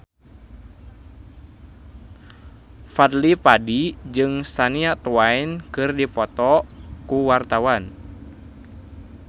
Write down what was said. Fadly Padi jeung Shania Twain keur dipoto ku wartawan